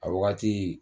A wagati